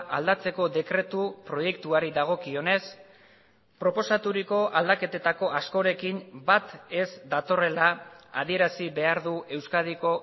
aldatzeko dekretu proiektuari dagokionez proposaturiko aldaketetako askorekin bat ez datorrela adierazi behar du euskadiko